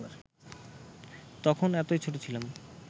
তখন এতই ছোট ছিলাম